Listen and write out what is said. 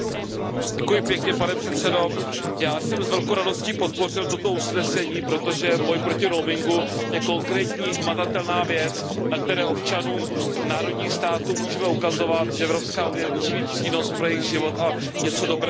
Pane předsedající, já jsem s velkou radostí podpořil toto usnesení, protože boj proti roamingu je konkrétní, hmatatelná věc, na které občanům národních států můžeme ukazovat, že Evropská unie může být přínosem pro jejich život a něco dobrého pro ně udělat.